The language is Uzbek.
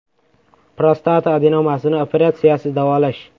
Prostata adenomasini operatsiyasiz davolash.